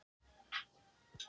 Á Merkúríusi er ekkert vatn.